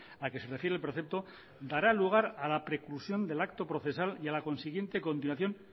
a que se refiere el precepto dará lugar a la preclusión del acto procesal y a la consiguiente continuación